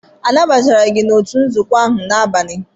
Anabatara gị n'òtù nzuzo ahụ n'abalị?